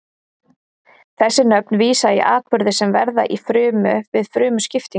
Þessi nöfn vísa í atburði sem verða í frumu við frumuskiptingu.